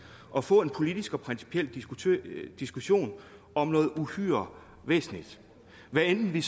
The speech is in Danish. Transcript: og få en politisk og principiel diskussion om noget uhyre væsentligt hvad enten vi